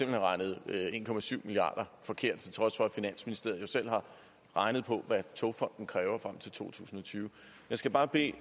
hen regnet en milliard kroner forkert til trods for at finansministeriet selv har regnet på hvad togfonden dk kræver frem til to tusind og tyve jeg skal bare bede